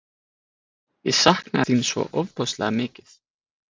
Ég saknaði þín svo ofboðslega mikið.